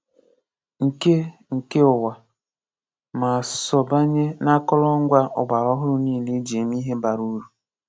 Nke Nke ụwa ma sọọbanye n’akọrọngwa ọgbara ọhụrụ niile e ji eme ihe bara uru.